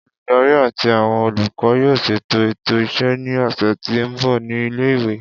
Oludari ati awọn olukọ yoo ṣeto eto iṣẹ ni ọsẹ ti nbọ ni ile-iwe.